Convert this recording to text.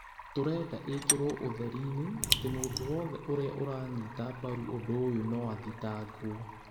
Tũrenda ĩkĩrwo ũtheri-ini atĩ mũndũ wothe ũrĩa ũranyita mbaru ũndũ ũyũ no athitangwo